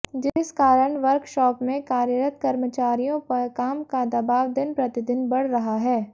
जिस कारण वर्कशॉप में कार्यरत कर्मचारियों पर काम का दवाब दिन प्रतिदिन बढ़ रहा है